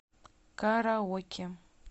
караоке